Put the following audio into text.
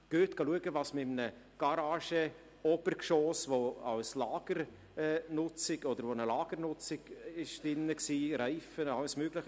Gehen Sie und schauen Sie, welche Industrie-4.0Lösungen dort, in einem Garagen-Obergeschoss, das früher als Lager benutzt wurde – Reifen und alles Mögliche;